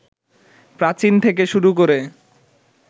প্রাচীন থেকে শুরু করে